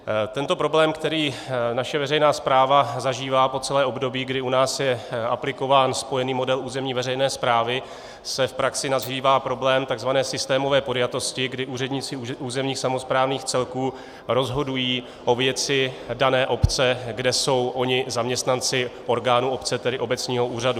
Tento problém, který naše veřejná správa zažívá po celé období, kdy u nás je aplikován spojený model územní veřejné správy, se v praxi nazývá problém takzvané systémové podjatosti, kdy úředníci územních samosprávných celků rozhodují o věci dané obce, kde jsou oni zaměstnanci orgánu obce, tedy obecního úřadu.